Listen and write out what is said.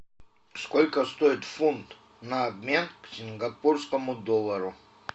сколько стоит фунт на обмен к сингапурскому доллару